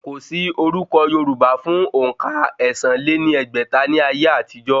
Kò sí orúkọ̀ yorùbá fún òǹkà ẹ̀sán lé ní ẹgbẹ́ta ní ayé àtijọ́